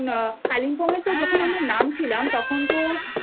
গেছি যখন আকালিম্পঙে তো যখন আমরা